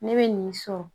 Ne bɛ nin sɔn